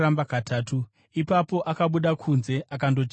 Ipapo akabuda kunze akandochema zvikuru.